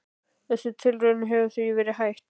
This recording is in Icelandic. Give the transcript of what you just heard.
Þessum tilraunum hefur því verið hætt.